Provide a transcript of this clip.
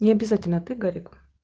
необязательно ты гарик